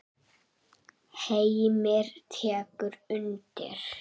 Heimir tekur undir.